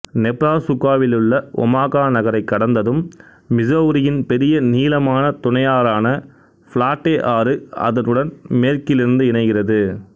நெப்ராசுக்காவிலுள்ள Omaha நகரை கடந்ததும் மிசௌரியின் பெரிய நீளமான துணையாரான பிளாட்டே ஆறு அதனுடன் மேற்கிலிருந்து இணைகிறது